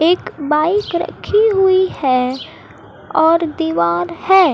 एक बाइक रखी हुई है और दीवार है।